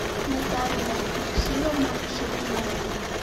наталья ильсуровна шаварнаева